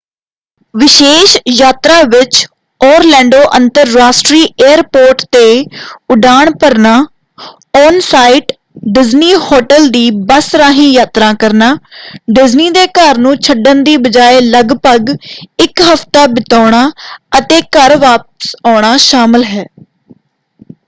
ਵਿਸ਼ੇਸ਼ ਯਾਤਰਾ ਵਿੱਚ ਓਰਲੈਂਡੋ ਅੰਤਰਰਾਸ਼ਟਰੀ ਏਅਰਪੋਰਟ 'ਤੇ ਉਡਾਣ ਭਰਨਾ ਔਨ-ਸਾਈਟ ਡਿਜ਼ਨੀ ਹੋਟਲ ਦੀ ਬੱਸ ਰਾਹੀਂ ਯਾਤਰਾ ਕਰਨਾ ਡਿਜ਼ਨੀ ਦੇ ਘਰ ਨੂੰ ਛੱਡਣ ਦੀ ਬਜਾਏ ਲਗਭਗ ਇੱਕ ਹਫ਼ਤਾ ਬਿਤਾਉਣਾ ਅਤੇ ਘਰ ਵਾਪਸ ਆਉਣਾ ਸ਼ਾਮਲ ਹੈ।